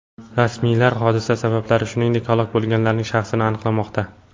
Rasmiylar hodisa sabablari, shuningdek, halok bo‘lganlarning shaxsini aniqlamoqda.